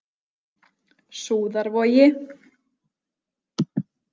Súðarvogi